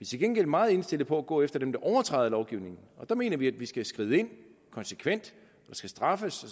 til gengæld meget indstillet på at gå efter dem der overtræder lovgivningen og der mener vi at vi skal skride ind konsekvent der skal straffes